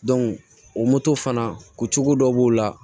o moto fana ko cogo dɔ b'o la